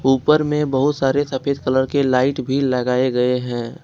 ऊपर में बहुत सारे सफेद कलर के लाइट भी लगाए गए हैं।